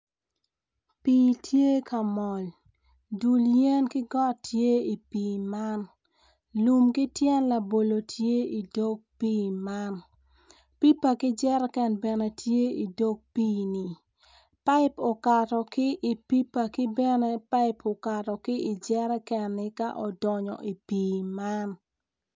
Pii tye ka mol dul yen ki got tye i pii man lum ki tyen labolo tye i pii man pipa ki jerican tye i dog pii ni paip okato ki ipipa ki bene pai oakt ki i jerikan man ci donyo i pii man.